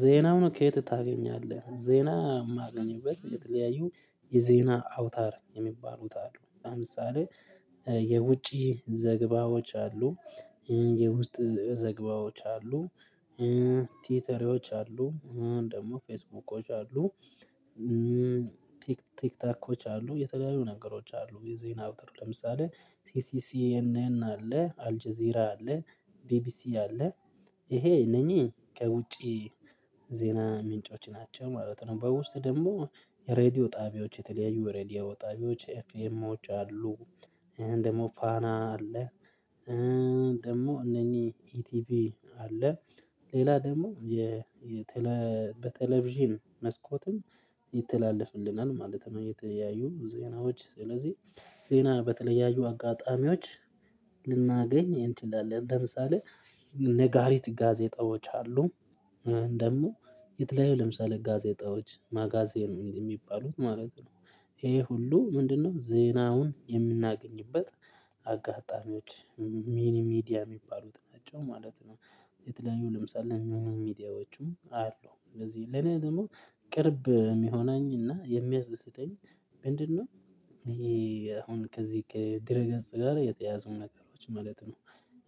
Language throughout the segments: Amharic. ዜናውን ከየት? ታገኛለህ ዜና የማገኝበት የተለያዩ የዜና አውታር የሚባሉት አሉ ለምሳሌ የውጪ ዘግባዎች አሉ። የውስጥ ዘግባዎች አሉ። ቲውተሮች አሉ አሁን ደግሞ ፌስቡኮች አሉ። ቲክቶኮች አሉ የተለያዩ ነገሮች አሉ። የዜና አውተር ለምሳሌ ሲሲሲኤንኤን አለ አልጄዚራ አለ ቢቢሲ አለ ይሄ እነኚህ ከውጪ ዜና ምንጮች ናቸው። ማለት ነው በውስጥ ደግሞ የሬዲዮ ጣቢያዎች የተለያዩ ሬዲዮ ጣቢያዎች ኤፍኤምዎች አሉ። ደግሞ ፋና አለ። ደግሞ እነኚህ ኢቲቪ አለ። ሌላ ደግሞ የ በቴሌቭዥን መስኮትም ይተላለፍልናል ማለት ነው። የተያዩ ዜናዎች ስለዚህ ዜና በተለያዩ አጋጣሚዎች ልናገኝ እንችላለን። ለምሳሌ ነጋሪት ጋዜጣዎች አሉ። ደግሞ የተለያዩ ለምሳሌ ጋዜጣዎች ማጋዜን እንደ የሚባሉት ማለት ነው። ይሄ ሁሉ ምንድነው? ዜናውን የምናገኝበት አጋጣሚዎች ሚኒ ሚዲያ የሚባሉት ናቸው ማለት ነው። የተለያዩ ለምሳሌ ሚኒ ሚዲያዎቹም አሉ እንደዚህ ለኔ ደግሞ ቅርብ የሚሆነኝ እና የሚያስደስተኝ ምንድነው? ይሄ አሁን ከዚህ ከድረገጽ ጋር የተያያዙ ነገሮች ማለት ነው።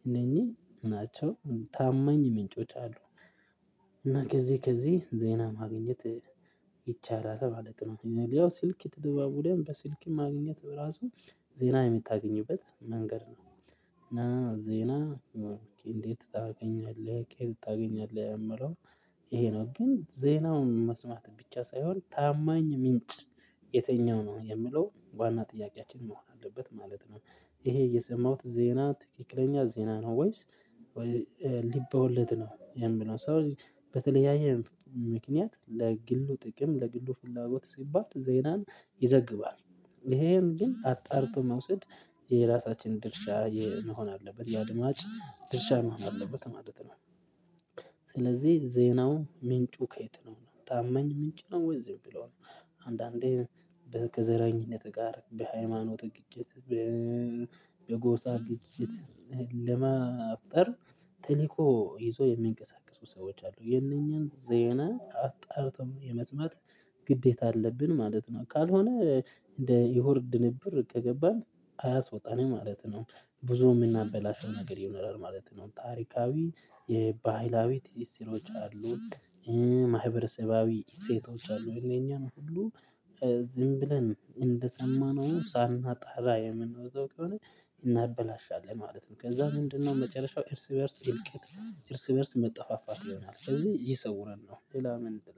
እነኚህ ናቸው ታማኝ ምንጮች አሉ። እና ከዚህ ከዚህ ዜና ማግኘት ይቻላል ማለት ነው። ያው ስልክ ተደዋውለን በስልክ ማግኘት በራሱ ዜና የምታገኝበት መንገድ ነው። እና ዜና እንዴት ታገኛለህ ከየት ታገኛለህ? የሚለው ይሄ ነው ግን ዜናውን መስማት ብቻ ሳይሆን ታማኝ ምንጭ የትኛው ነው የምለው ዋና ጥያቄያችን መሆን አለበት ማለት ነው። ይሄ የሰማሁት ዜና ትክክለኛ ዜና ነው። ወይስ ልብወለድ ነው። የሚለው ሰው በተለያየ ምክንያት ለግሉ ጥቅም ለግሉ ፍላጎት ሲባል ዜናን ይዘግባል። ይሄን ግን አጣርቶ መውሰድ የራሳችን ድርሻ መሆን አለበት የአድማጭ ድርሻ መሆን አለበት ነው ማለት ነው። ስለዚህ ዜናው ምንጩ ከየት ነው ታመኝ ምንጭ ነው ወይ ዝም ብሎ ነው። አንዳንዴ ከዘረኝነት ጋር በሃይማኖትህ ግጭት በጎሳ ግጭት ለመፍጠር ተልኮ ይዞ የሚንቀሳቀሱ ሰዎች አሉ የነኚህን ዜና አጣርቶ የመስማት ግዴታ አለብን ማለት ነው። ካልሆነ እንደ እውር ድንብር ከገባን አያስወጣንም ማለት ነው። ብዙ የምናበላሸው ነገር ይኖራል ማለት ነው። ታሪካዊ የባህላዊ ትስስሮች አሉ። ማህበረሰባዊ እሴቶች አሉ እነኛን ሁሉ ዝም ብለን እንደሰማነው ሳናጣራ የምንወስደው ከሆነ እናበላሻለን ማለት ነው። ከዛ ምንድነው መጨረሻው? እርስ በእርስ እልቂት እርስ በእርስ መጠፋፋት ይሆናል ከዚህ ይሰውረን ነው። ሌላ ምንድነው